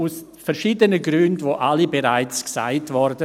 Dies aus verschiedenen Gründen, die alle bereits genannt wurden.